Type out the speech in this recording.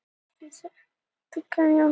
Framkvæmdir við Helguvík frestast